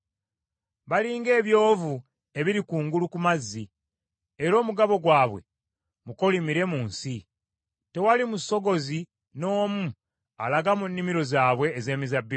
Bali ng’ebyovu ebiri kungulu ku mazzi, era omugabo gwabwe mukolimire mu nsi. Tewali musogozi n’omu alaga mu nnimiro zaabwe ez’emizabbibu.